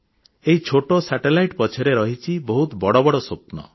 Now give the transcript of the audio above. ଏହି ଛୋଟ ଉପଗ୍ରହର ପଛରେ ରହିଛି ବହୁତ ବଡ଼ ବଡ଼ ସ୍ୱପ୍ନ